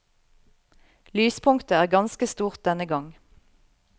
Lyspunktet er ganske stort denne gang.